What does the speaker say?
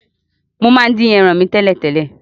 Mo máa n dín eran mi tẹ̀lẹ́tẹ̀lẹ́